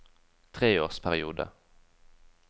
treårsperiode